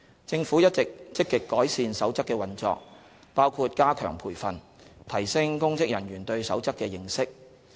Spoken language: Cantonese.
政府一直積極改善《守則》的運作，包括加強培訓，提升公職人員對《守則》的認識。